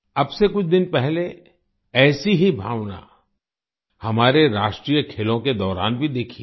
अब से कुछ दिन पहले ऐसी ही भावना हमारे राष्ट्रीय खेलों के दौरान भी देखी है